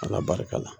Ala barika la